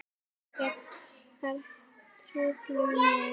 Ekkert fær truflað mig.